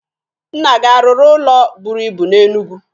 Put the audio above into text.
Nna gị a rụrụ ụlọ buru ibu na Enugwu?